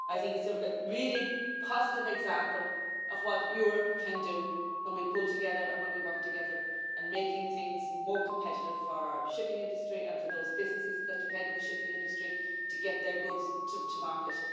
I think it's a really positive example of what Europe can do when we pull together and when we work together on making things more competitive for our shipping industry and for those businesses that depend on the shipping industry to get their goods to market.